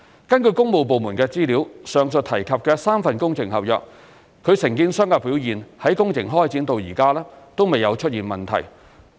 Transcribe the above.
根據工務部門的資料，上述提及的3份工程合約，其承建商的表現在工程開展至今未有出現問題。